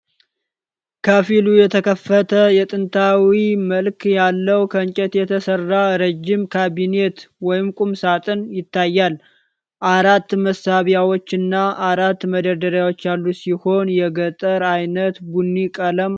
ከፊሉ የተከፈተ የጥንታዊ መልክ ያለው ከእንጨት የተሰራ ረዥም ካቢኔት/ቁም ሳጥን ይታያል። አራት መሳቢያዎችና አራት መደርደሪያዎች ያሉት ሲሆን የገጠር ዓይነት ቡኒ ቀለም አለው።